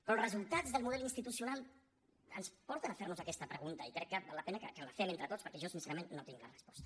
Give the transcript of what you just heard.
però els resultats del model institucional ens porten a fer nos aquesta pregunta i crec que val la pena que la fem entre tots perquè jo sincerament no tinc la resposta